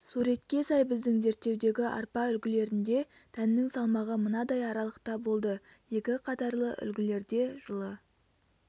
суретке сай біздің зерттеудегі арпа үлгілерінде дәннің салмағы мынадай аралықта болды екі қатарлы үлгілерде жылы